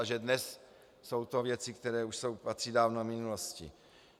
A že dnes jsou to věci, které už patří dávno minulosti.